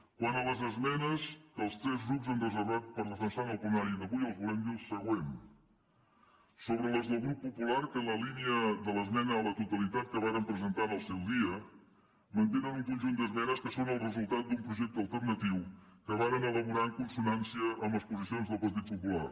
quant a les esmenes que els tres grups han reservat per defensar en el plenari d’avui els volem dir el següent sobre les del grup popular que la línia de l’esmena a la totalitat que varen presentar en el seu dia mantenen un conjunt d’esmenes que són el resultat d’un projecte alternatiu que varen elaborar en consonància amb les posicions del partit popular